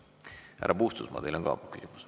Härra Puustusmaa, teil on ka küsimus.